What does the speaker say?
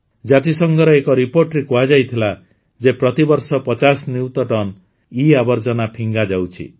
ଜାତିସଂଘର ଏକ ରିପୋର୍ଟରେ କୁହାଯାଇଥିଲା ଯେ ପ୍ରତିବର୍ଷ ୫୦ ନିୟୁତ ଟନ ଇଆବର୍ଜନା ଫିଙ୍ଗାଯାଉଛି